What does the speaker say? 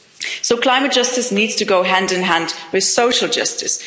So climate justice needs to go hand in hand with social justice.